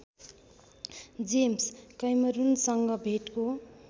James कैमरूनसँग भेटको